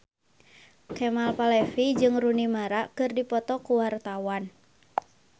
Kemal Palevi jeung Rooney Mara keur dipoto ku wartawan